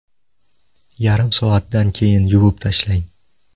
Yarim soatdan keyin yuvib tashlang.